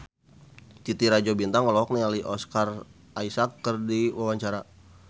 Titi Rajo Bintang olohok ningali Oscar Isaac keur diwawancara